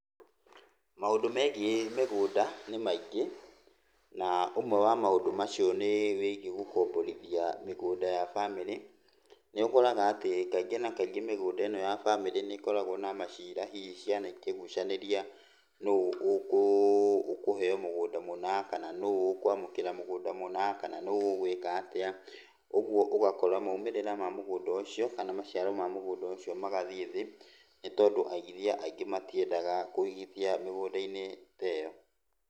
Maũndũ megiĩ mĩgũnda nĩ maingĩ na ũmwe wa maũndũ macio nĩ gũkomborithia mĩgũnda ya bamĩrĩ. Nĩ ũkoraga atĩ kaingĩ na kaingĩ mĩgũnda ĩno ya bamĩrĩ nĩ ĩkoragwo na macira hihi ciana ikĩgucanĩria nũ ũkũheo mũgũnda mũna, kana nũ ũkũamũkĩra mũgũnda mũna, kana nũ ũgũĩka atĩa. Ũguo ũgakora maumĩrĩra ma mũgũnda ũcio kana maciaro ma mũgũnda ũcio magathiĩ thĩ, nĩ tondũ aigithia aingĩ matiendaga kũigithia mĩgũnda-inĩ ta ĩyo.